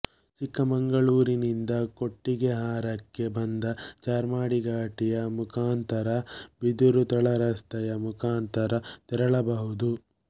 ಚಿಕ್ಕಮಂಗಳೂರಿನಿಂದ ಕೊಟ್ಟಿಗೆಹಾರಕ್ಕೆ ಬಂದು ಚಾರ್ಮಾಡಿ ಘಾಟಿಯ ಮುಖಾಂತರ ಬಿದಿರು ತಳ ರಸ್ತೆಯ ಮುಖಾಂತರ ತೆರಳಬಹುದು